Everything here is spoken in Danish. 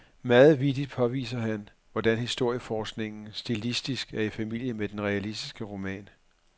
Meget vittigt påviser han, hvordan historieforskningen stilistisk er i familie med den realistiske roman.